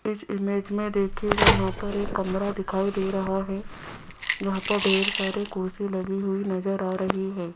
इस इमेज में देखियेगा यहां पर एक कमरा दिखाई दे रहा है यहां पर ढेर सारी कुर्सी लगी हुई नज़र आ रही है।